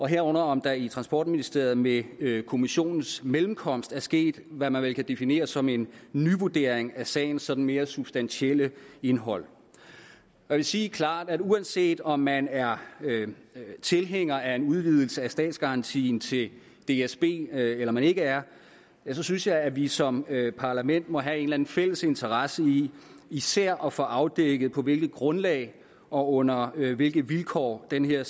herunder om der i transportministeriet med kommissionens mellemkomst er sket hvad man vel kan definere som en nyvurdering af sagens sådan mere substantielle indhold jeg vil sige klart at uanset om man er tilhænger af en udvidelse af statsgarantien til dsb eller man ikke er synes jeg at vi som parlament må have en eller anden fælles interesse i især at få afdækket på hvilket grundlag og under hvilke vilkår den her